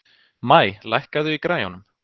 Maj, lækkaðu í græjunum.